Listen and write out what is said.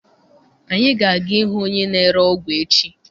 Anyị ga-aga ịhụ onye na-ere ọgwụ echi.